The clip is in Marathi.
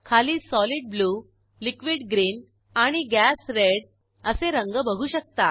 खाली solid ब्लू liquid ग्रीन आणि gas रेड असे रंग बघू शकता